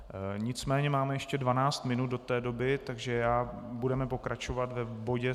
Nicméně máme ještě 12 minut do té doby, takže budeme pokračovat v bodě